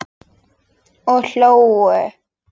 Og hlógu.